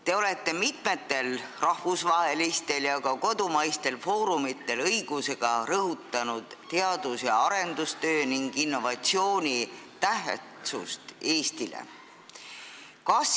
Te olete mitmel rahvusvahelisel ja ka kodumaisel foorumil õigusega rõhutanud teadus- ja arendustöö ning innovatsiooni tähtsust Eestile.